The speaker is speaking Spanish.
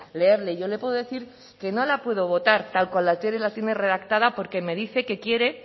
leerlo yo le puedo decir que no la puedo votar tal como la tiene redactada porque me dice que quiere